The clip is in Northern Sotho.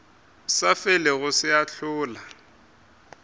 sa felego se a hlola